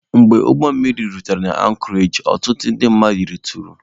Mgbe ụgbọmmiri rutere na ankọreji, ọtụtụ ndị mmadụ rituru.